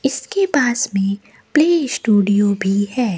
इसके पास में प्ले स्टूडियो भी है।